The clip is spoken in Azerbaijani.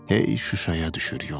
Hey Şuşaya düşür yolum.